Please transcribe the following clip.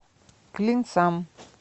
клинцам